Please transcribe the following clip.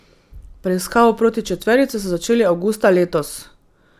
Preiskavo proti četverici so začeli avgusta letos.